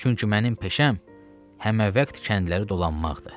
Çünki mənim peşəm həməvaxt kəndləri dolanmaqdır.